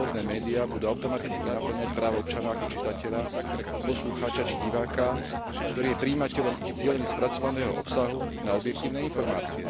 slobodné médiá budú automaticky napĺňať právo občana ako čitateľa, poslucháča či diváka, ktorý je prijímateľom ich cielene spracovaného obsahu, na objektívne informácie.